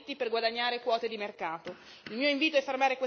Non si possono svendere i diritti per guadagnare quote di mercato.